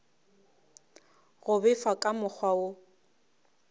go befa ka mokgwa wo